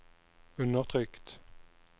undertrykt